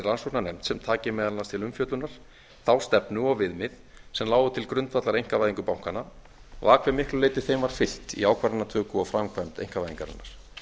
rannsóknarnefnd sem taki meðal annars til umfjöllunar þá stefnu og viðmið sem lágu til grundvallar einkavæðingu bankanna og að hve miklu leyti þeim var fylgt í ákvarðanatöku og framkvæmd einkavæðingarinnar